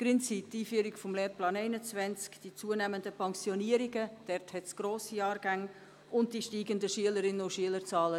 Gründe sind die Einführung des Lehrplans 21, die zunehmenden Pensionierungen – dort hat es grosse Jahrgänge – sowie die steigenden Schülerinnen- und Schülerzahlen.